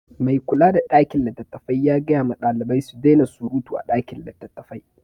Mai kula da ɗakin littattafai ya gaya ma ɗalibai su daina suruta a ɗakin littattafai.